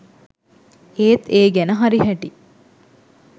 ඒත් ඒ ගැන හරි හැටි